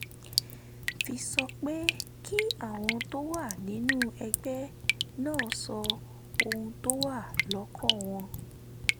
fi sọ pé kí àwọn tó wà nínú ẹgbẹ́ náà sọ ohun tó wà lọ́kàn wọn